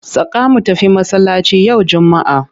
Saka mu tafi masallaci yau Juma'a!